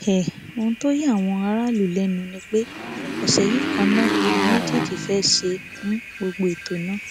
um ohun tó ya àwọn aráàlú lẹnu ni pé ọsẹ yìí kan náà làwọn méjèèjì fẹẹ ṣe um gbogbo ètò náà